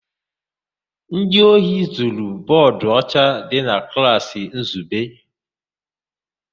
Ndị ohi zuru bọọdụ ọcha dị na klaasị Nzube.